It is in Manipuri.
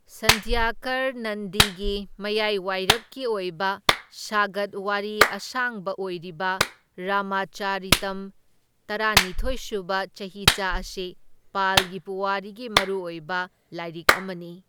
ꯁꯟꯙ꯭ꯌꯥꯀꯔ ꯅꯟꯗꯤꯒꯤ ꯃꯌꯥꯏꯋꯥꯏꯔꯞꯀꯤ ꯑꯣꯏꯕ ꯁꯥꯒꯠ ꯋꯥꯔꯤ ꯑꯁꯥꯡꯕ ꯑꯣꯏꯔꯤꯕ ꯔꯥꯃꯥꯆꯔꯤꯇꯝ ꯇꯔꯥꯅꯤꯊꯣꯢꯁꯨꯕ ꯆꯍꯤꯆꯥ ꯑꯁꯤ ꯄꯥꯜꯒꯤ ꯄꯨꯋꯥꯔꯤꯒꯤ ꯃꯔꯨꯑꯣꯏꯕ ꯂꯥꯏꯔꯤꯛ ꯑꯃꯅꯤ꯫